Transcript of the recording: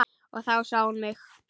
Og þá sá hún mig.